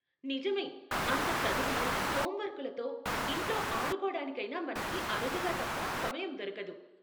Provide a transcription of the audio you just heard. నిజమే, అంత చదువులు, హోమ్ వర్కులతో, ఇంట్లో ఆడుకోటానికైనా మనకి అరుదుగా తప్ప సమయం దొరకదు.